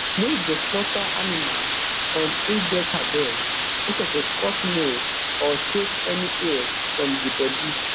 wey go slaughter animal on eidelkabir no suppose cut nails or shave any hairs from di bodi